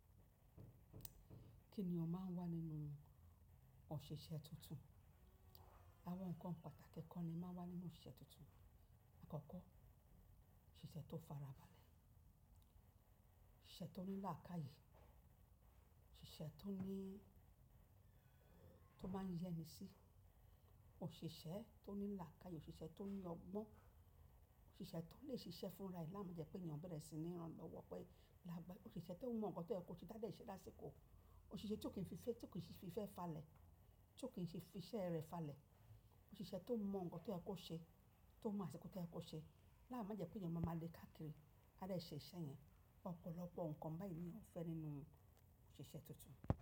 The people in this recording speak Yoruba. Kí ènìyàn máa ń wà nínú òṣìṣẹ́ tuntun. Awọn nkan pàtàkì kan ni ma wà nínú osiṣẹ́ tuntun. Àkọ́kọ́, oṣíṣe tó farabalẹ̀, osiṣẹ́ tó ní làákàyè, oṣíṣẹ́ tó ní tó máa ń yẹ́ni sí, òṣìṣẹ́ tó ní làákàyè, òṣìṣẹ́ tó ní ọgbọ́n, òṣìṣẹ́ tó lè ṣiṣẹ́ fúnra, láma jẹ́ pé ènìyàn bẹ̀rẹ̀ sí ní ranlọ́wọ́ pẹ́ lágbà. Òṣìṣẹ́ tó mọ nǹkan tó yẹ kó ṣe tádẹ̀ ṣe lásìkò, òṣìṣẹ́ tó kì í fi fẹ́ tó kì í fi fẹ́ falẹ̀, tó kì í ṣe fi iṣẹ́ rẹ̀ falẹ̀, òṣìṣẹ́ tó mọ nǹkan tó yẹ kó ṣe, tó mọ àsìkò tí ẹ kó ṣe. Láima jẹ́ pé ènìyàn máa ma le káàkiri láti ṣe iṣẹ́ yẹn. Ọ̀pọ̀lọpọ̀ nǹkan báyìí ni a ń fẹ́ nínú òṣìṣẹ́ tuntun.